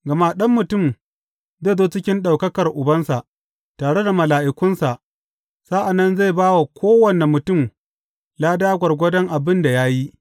Gama Ɗan Mutum zai zo cikin ɗaukakar Ubansa, tare da mala’ikunsa, sa’an nan zai ba wa kowane mutum lada gwargwadon abin da ya yi.